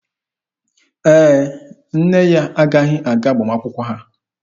Ee, nne ya agaghị aga agbamakwụkwọ ha.